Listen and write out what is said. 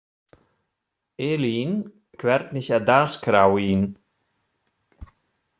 Elín, hvernig er dagskráin?